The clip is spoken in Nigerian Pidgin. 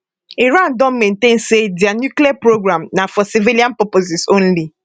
iran don maintain say dia nuclear programme na for civilian purposes only